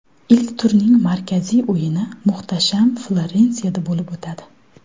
Ilk turning markaziy o‘yini muhtasham Florensiyada bo‘lib o‘tadi.